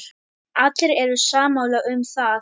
Allir eru sammála um það.